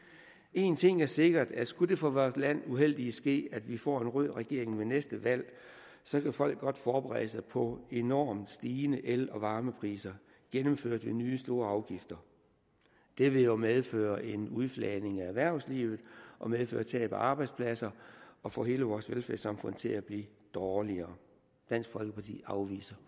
en ting er sikker skulle det for vores land uheldige ske at vi får en rød regering ved næste valg så kan folk godt forberede sig på enormt stigende el og varmepriser gennemført ved nye store afgifter det vil jo medføre en udfladning af erhvervslivet og medføre tab af arbejdspladser og få hele vores velfærdssamfund til at blive dårligere dansk folkeparti afviser